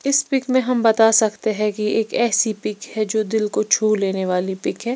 इस पिक में हम बता सकते हैं कि एक ऐसी पिक है जो दिल को छु लेने वाली पिक है।